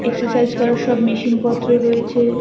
Exercise করার সব machine পত্র রয়েছে।